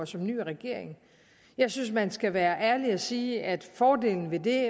som ny regering jeg synes at man skal være ærlig og sige at fordelen ved det